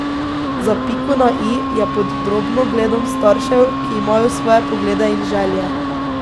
Za piko na i je pod drobnogledom staršev, ki imajo svoje poglede in želje.